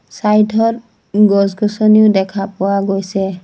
চাইধত ত গছ-গছনিও দেখা পোৱা গৈছে।